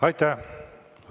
Aitäh!